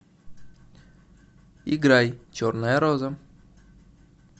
играй черная роза